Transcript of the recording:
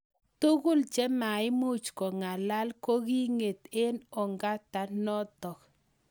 Tugul chemaimuch kong'alal koking'et eng ong'ata notok